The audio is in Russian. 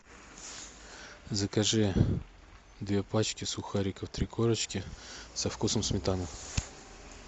закажи две пачки сухариков три корочки со вкусом сметаны